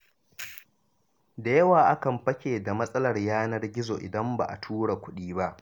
Da yawa akan fake da matsalar yanar gizo, idan ba a tura kudi ba.